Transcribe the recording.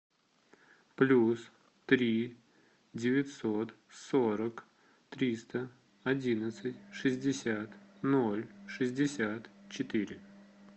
плюс три девятьсот сорок триста одинадцать шестьдесят ноль шестьдесят четыре